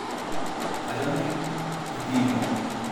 Achame kutinyo.